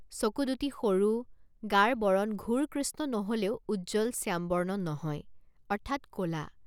চকু দুটি সৰু গাৰ বৰণ ঘোৰ কৃষ্ণ নহলেও উজ্জ্বল শ্যামবৰ্ণ নহয় অৰ্থাৎ কলা।